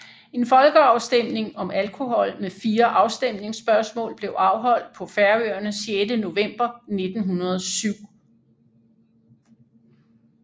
En folkeafstemning om alkohol med fire afstemningsspørgsmål blev afholdt på Færøerne 6 november 1907